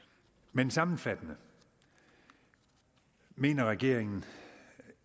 men sammenfattende mener regeringen